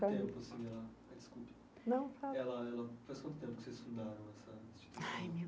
Quanto tempo assim ela ah desculpe não fala ela ela faz tempo que vocês fundaram essa instituição? Ai meu